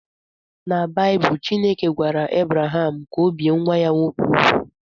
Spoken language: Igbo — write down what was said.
Na Baịbụl, Chineke gwara Ebraham ka ọ bie nwa ya nwoke úgwù